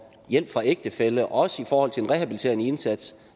hjælp fra ægtefælle også i forhold til en rehabiliterende indsats